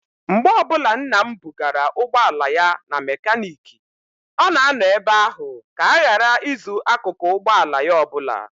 Mgbe ọbụla nna m bugara ụgbọala ya na mekaniiki, ọ na-anọ ebe ahụ ka a ghara izu akụkụ ụgbọala ya ọbụla.